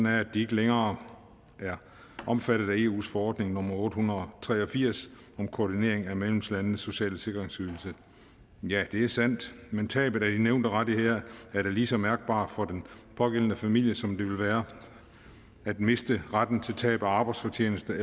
at de ikke længere er omfattet af eus forordning nummer otte hundrede og tre og firs om koordinering af medlemslandenes sociale sikkerhedsydelse ja det er sandt men tabet af de nævnte rettigheder er da lige så mærkbart for den pågældende familie som det ville være at miste retten til tab af arbejdsfortjeneste